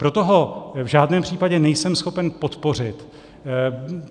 Proto ho v žádném případě nejsem schopen podpořit.